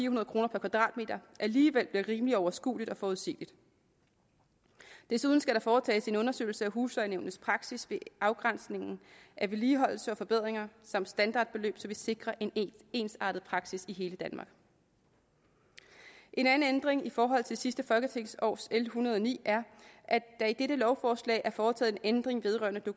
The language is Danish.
hundrede kroner per kvadratmeter alligevel bliver rimelig overskueligt og forudsigeligt desuden skal der foretages en undersøgelse af huslejenævnets praksis ved afgrænsningen af vedligeholdelse og forbedringer samt standardbeløb så vi sikrer en ensartet praksis i hele danmark en anden ændring i forhold til sidste folketingsårs l en hundrede og ni er at der i dette lovforslag er foretaget en ændring vedrørende